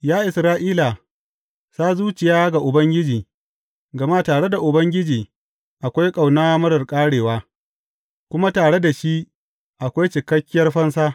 Ya Isra’ila, sa zuciya ga Ubangiji, gama tare da Ubangiji akwai ƙauna marar ƙarewa kuma tare da shi akwai cikakkiyar fansa.